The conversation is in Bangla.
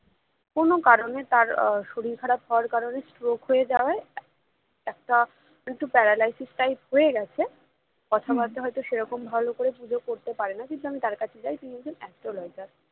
কোনো কারণে তার শরীর খারাপ হওয়ার কারণে stroke হয়ে যাওয়ায় একটা একটু paralysis type হয়ে গেছে কথাবার্তা বলে হয়তো সেরকম ভালো করে পুজো করতে পারে না কিন্তু আমি তার কাছে যাই তিনি একজন astrologer